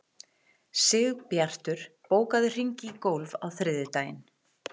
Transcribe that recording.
Sigbjartur, bókaðu hring í golf á þriðjudaginn.